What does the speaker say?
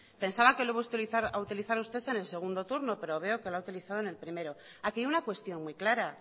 pensaba que lo iba a utilizar usted en el segundo turno pero veo que la ha utilizado en el primero aquí hay una cuestión muy clara